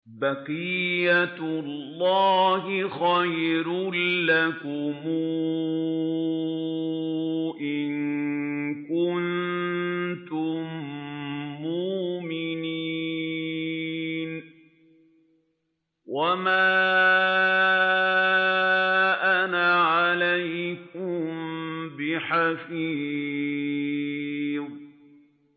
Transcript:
بَقِيَّتُ اللَّهِ خَيْرٌ لَّكُمْ إِن كُنتُم مُّؤْمِنِينَ ۚ وَمَا أَنَا عَلَيْكُم بِحَفِيظٍ